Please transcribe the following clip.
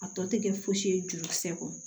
A tɔ tɛ kɛ fosi ye jurukisɛ kɔnɔ